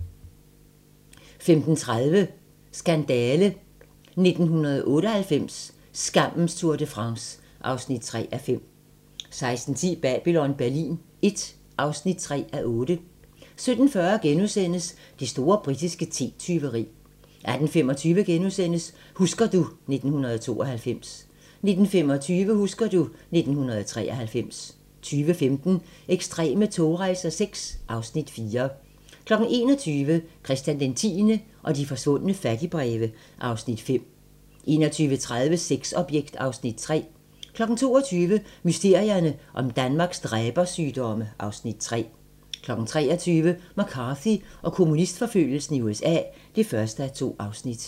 15:30: Skandale! - 1998, skammens Tour de France (3:5) 16:10: Babylon Berlin I (3:8) 17:40: Det store britiske te-tyveri * 18:35: Husker du ... 1992 * 19:25: Husker du ... 1993 20:15: Ekstreme togrejser VI (Afs. 4) 21:00: Christian X og de forsvundne fattigbreve (Afs. 5) 21:30: Sexobjekt (Afs. 3) 22:00: Mysterierne om Danmarks dræbersygdomme (Afs. 3) 23:00: McCarthy og kommunistforfølgelsen i USA (1:2)